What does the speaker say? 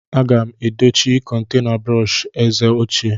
Aga m edochie kontena brọsh eze ochie.